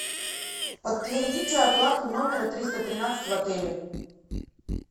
подтвердите оплату номера триста тринадцать в отеле